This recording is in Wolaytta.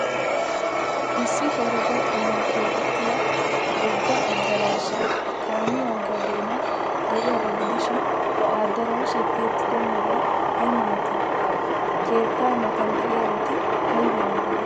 Issi herega xallan keexettida wogga addaraashay kaamiya ogiyaa doonan de'iyaagaa gidishin, ha addaraashay tiyettido meray ay malatii? Keettaa matan de'iyaabati aybee aybee?